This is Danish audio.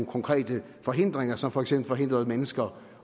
konkrete forhindringer som for eksempel forhindrede mennesker